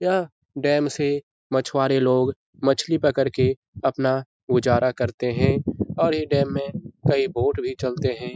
यह डेम से मछवारे लोग मछली पकड़ के अपना गुजरा करते है ओर यै डेम मे कई बोट भी चलते है ।